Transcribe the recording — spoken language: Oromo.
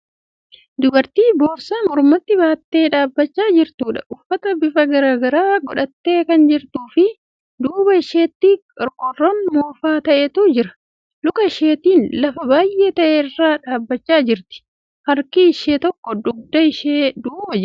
Dubartii boorsaa mormatti baattee dhaabbachaa jirtuudha. Uffata bifa garagaraa godhattee kan jirtuu fi duuba isheetti qorqoorroon moofaa ta'etu jira. Luka isheetin lafa biyyee ta'e irra dhaabbachaa jirti. Harki ishee tokko dugda ishee duuba jira.